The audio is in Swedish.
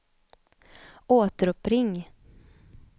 återuppring